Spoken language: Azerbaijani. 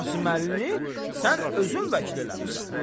Qasımlını sən özün vəkil eləmisən.